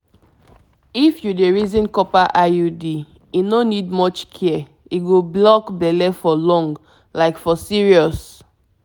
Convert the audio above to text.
if you dey reason copper iud e no much care e go block belle for long like for serious.